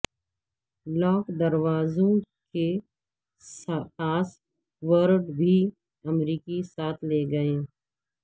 lock دروازوں کے password بھی امریکی ساتھ لے گئے